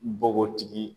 Bɔgɔtigi